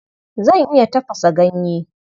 Zan iya tafasa ganye.